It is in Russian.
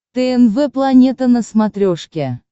тнв планета на смотрешке